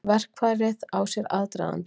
Verkið á sér aðdraganda.